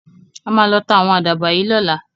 A máa lọ ta ạ̀wọn àdàbà yìí lọ́la.